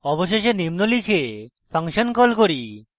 অবশেষে আমরা নিম্ন লিখে ফাংশন call করি: